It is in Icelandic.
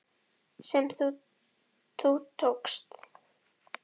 sem þú tókst.